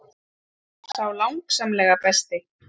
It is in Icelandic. Sá langsamlega besti.